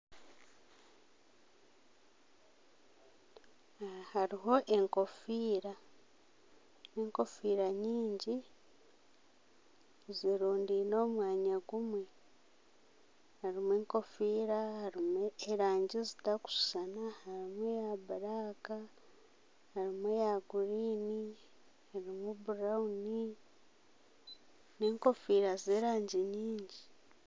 Aha hariho enkofiira nekonfiira nyingi zirundiine omu mwanya gumwe harimu erangi zitarikushushana harimu bulaka, harimu eya guriini harimu burawunu n'enkofiira zerangi nyingi